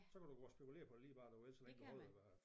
Så kan du gå og spekulere på lige hvad du vil så længe du holder dig